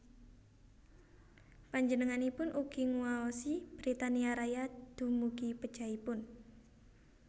Panjenenganipun ugi nguwaosi Britania Raya dumugi pejahipun